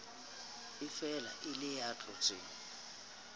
efela e le ya tlotseng